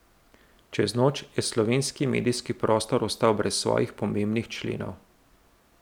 Čez noč je slovenski medijski prostor ostal brez svojih pomembnih členov.